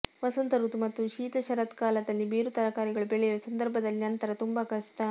ವಸಂತ ಋತು ಮತ್ತು ಶೀತ ಶರತ್ಕಾಲದಲ್ಲಿ ಬೇರು ತರಕಾರಿಗಳು ಬೆಳೆಯಲು ಸಂದರ್ಭದಲ್ಲಿ ನಂತರ ತುಂಬಾ ಕಷ್ಟ